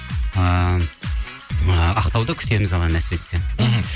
ыыы ақтауда күтеміз алла нәсіп етсе мхм